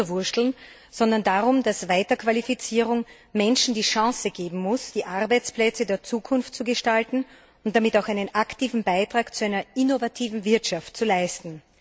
drüberwurschteln, sondern darum, dass Weiterqualifizierung Menschen die Chance geben muss, die Arbeitsplätze der Zukunft zu gestalten und damit auch einen aktiven Beitrag zu einer innovativen Wirtschaft zu leisten.